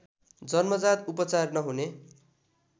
जन्मजात उपचार नहुने